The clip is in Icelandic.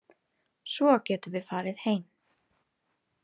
Svo getum við farið heim.